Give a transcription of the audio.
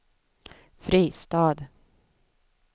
Fristad